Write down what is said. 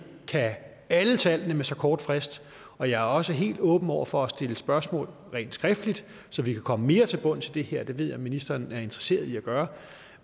kan alle tallene med så kort frist og jeg er også helt åben over for at stille spørgsmål rent skriftligt så vi kan komme mere til bunds i det her det ved jeg også at ministeren er interesseret i at gøre